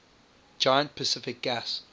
giant pacific gas